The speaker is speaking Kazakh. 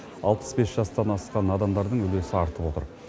алпыс бес жастан асқан адамдардың үлесі артып отыр